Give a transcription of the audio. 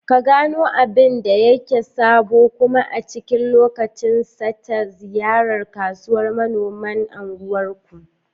Ka gano abin da yake sabo kuma a cikin lokacin sa ta ziyartar kasuwar manoman unguwar ku.